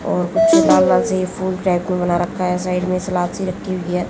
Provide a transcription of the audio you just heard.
और कुछ लाल लाल से ये फुल टैटू बना रखा है साइड में सलाड सी रखी हुई है।